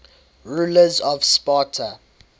rulers of sparta